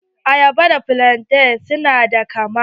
Ayaba da flante su na da kama.